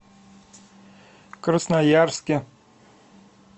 красноярске